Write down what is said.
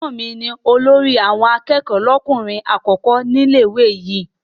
Ẹ̀gbọ́n mi ni olórí àwọn akẹ́kọ̀ọ́ lọ́kùnrin àkọ́kọ́ ní ilé-ìwé yìí.